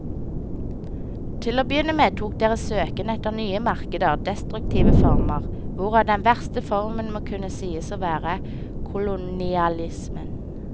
Til å begynne med tok deres søken etter nye markeder destruktive former, hvorav den verste formen må kunne sies å være kolonialismen.